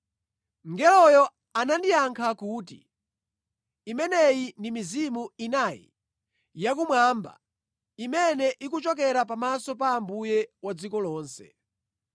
Mngeloyo anandiyankha kuti, “Imeneyi ndi mizimu inayi yakumwamba, imene ikuchokera pamaso pa Ambuye wa dziko lonse.